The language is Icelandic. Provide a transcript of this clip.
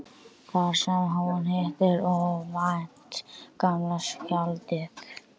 Þar sem hún hittir óvænt gamla skáldið.